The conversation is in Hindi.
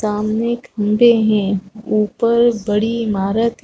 सामने खंभे है ऊपर बड़ी ईमारत --